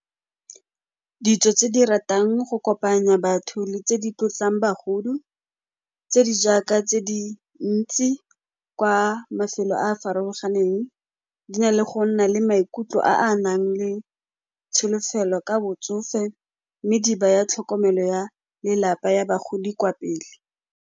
Ditso tse di ratang go kopanya batho le tse di tlotlang bagolo, tse di jaaka tse di ntsi kwa mafelo a a farologaneng, di na le go nna le maikutlo a a nang le tsholofelo ka botsofe mme di baya tlhokomelo ya lelapa ya bagodi kwa pele.